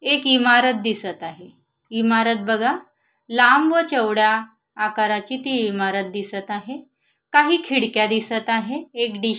एक इमारत दिसत आहे इमारत बघा लांब चवड्या आकाराची ती इमारत दिसत आहे काही खिडक्या दिसत आहे एक डिश --